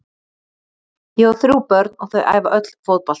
Ég á þrjú börn og þau æfa öll fótbolta.